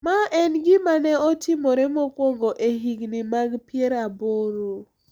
Ma en gima ne otimore mokwongo e higni mag pier aboro,